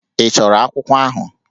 Ị chọrọ akwụkwọ ahụ?